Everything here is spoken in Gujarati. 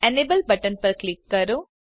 એનેબલ બટન પર ક્લિક કરો